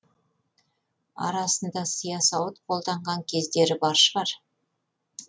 арасында сия сауыт қолданған кездері бар шығар